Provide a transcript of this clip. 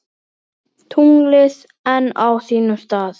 Tunglið enn á sínum stað.